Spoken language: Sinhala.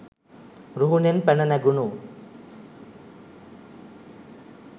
රුහුණෙන් පැණ නැගුණු